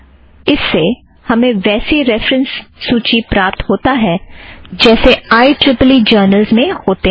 इस से हमे वैसी रेफ़रन्स सूची प्राप्त होता है जैसे I E E E journals में होतें हैं